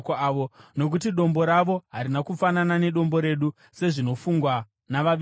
Nokuti dombo ravo harina kufanana neDombo redu, sezvinofungwa navavengi vedu.